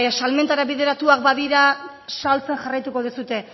salmentara bideratuak badira saltzen jarraituko duzue